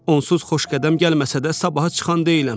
Onsuz Xoşqədəm gəlməsə də sabaha çıxan deyiləm.